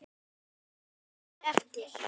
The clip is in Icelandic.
Óskari eftir.